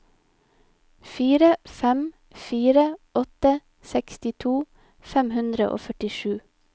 fire fem fire åtte sekstito fem hundre og førtisju